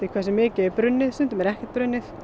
hversu mikið er brunnið stundum er ekkert brunnið